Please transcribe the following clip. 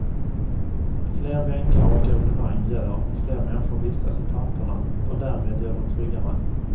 Fler bänkar och evenemang gör att fler människor vistas i parkerna och därmed gör dem tryggare.